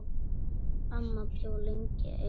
Amma bjó lengi ein.